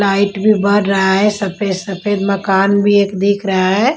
Light भी बर रा है सफेद सफेद मकान भी एक दिख रहा है।